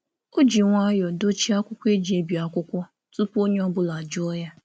Ọ jiri nwayọọ um dochie akwụkwọ igwe nbipụta tupu onye ọ bụla arịọ.